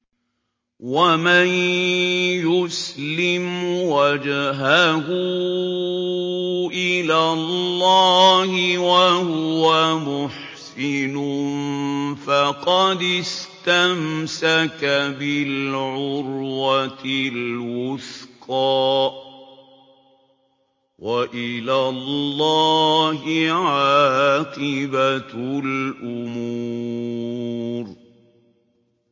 ۞ وَمَن يُسْلِمْ وَجْهَهُ إِلَى اللَّهِ وَهُوَ مُحْسِنٌ فَقَدِ اسْتَمْسَكَ بِالْعُرْوَةِ الْوُثْقَىٰ ۗ وَإِلَى اللَّهِ عَاقِبَةُ الْأُمُورِ